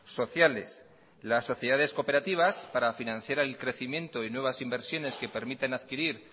sociales las sociedades cooperativas para financiar el crecimiento y nuevas inversiones que permitan adquirir